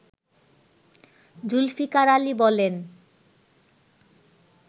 জুলফিকার আলী বলেন